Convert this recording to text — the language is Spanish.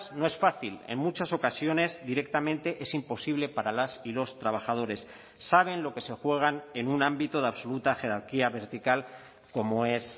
no es fácil en muchas ocasiones directamente es imposible para las y los trabajadores saben lo que se juegan en un ámbito de absoluta jerarquía vertical como es